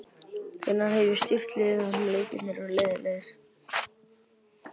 Hvenær hef ég stýrt liði þar sem leikirnir eru leiðinlegir?